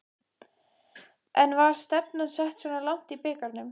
En var stefnan sett svona langt í bikarnum?